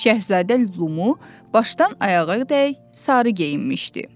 Şahzadə Lumu başdan ayağadək sarı geyinmişdi.